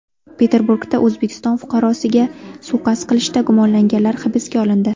Peterburgda O‘zbekiston fuqarosiga suiqasd qilishda gumonlanganlar hibsga olindi.